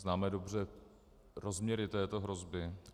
Známe dobře rozměry této hrozby?